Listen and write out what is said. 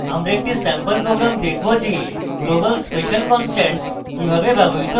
আমরা একটি sample program দেখবো যে global special constants কিভাবে ব্যবহৃত হয়